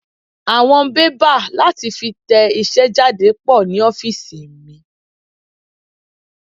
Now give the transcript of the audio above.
Àwọn bébà láti fi tẹ iṣẹ́ jáde pò ní ofiisi mi.